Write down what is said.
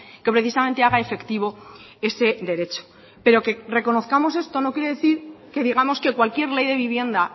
que precisamente haga efectivo ese derecho pero que reconozcamos esto no quiere decir que digamos que cualquier ley de vivienda